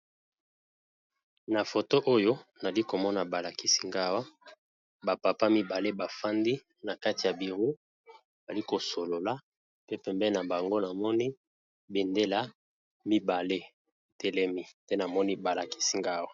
Na foto oyo nali komona ba lakisi nga wa ba papa mibale ba fandi na kati ya bureau bali kosolola pe pembeni na bango namoni bendela mibale, telemi te namoni balakisi nga wa.